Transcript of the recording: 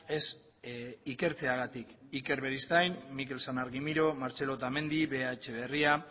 ez ikertzeagatik iker beristain mikel san argimiro martxelo otamendi bea etxebarria